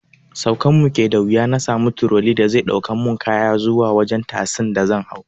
Saukan mu ke da wuya na sami turoli da zai ɗaukan mu kaya zuwa wajen tasi da zan hau